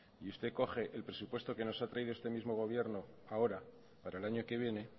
y usted coge el presupuesto que nos ha traído este mismo gobierno ahora para el año que viene